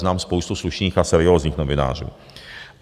Znám spoustu slušných a seriózních novinářů.